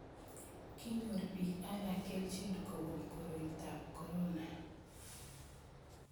Kinyor bik alak kelchin kobun koroitab korona